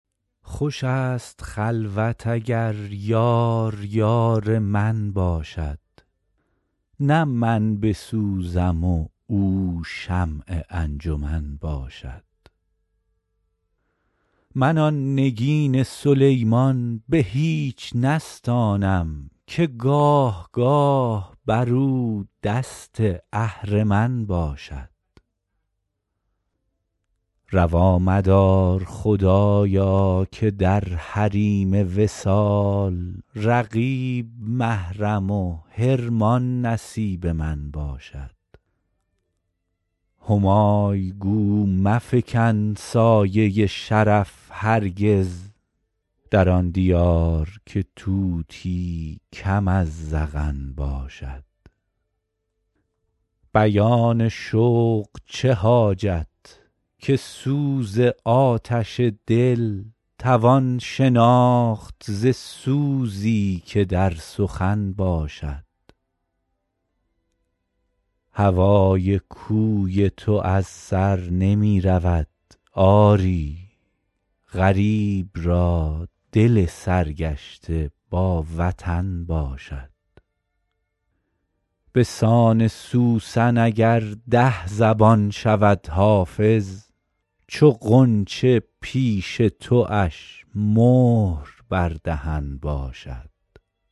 خوش است خلوت اگر یار یار من باشد نه من بسوزم و او شمع انجمن باشد من آن نگین سلیمان به هیچ نستانم که گاه گاه بر او دست اهرمن باشد روا مدار خدایا که در حریم وصال رقیب محرم و حرمان نصیب من باشد همای گو مفکن سایه شرف هرگز در آن دیار که طوطی کم از زغن باشد بیان شوق چه حاجت که سوز آتش دل توان شناخت ز سوزی که در سخن باشد هوای کوی تو از سر نمی رود آری غریب را دل سرگشته با وطن باشد به سان سوسن اگر ده زبان شود حافظ چو غنچه پیش تواش مهر بر دهن باشد